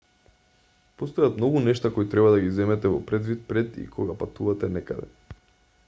постојат многу нешта кои треба да ги земете во предвид пред и кога патувате некаде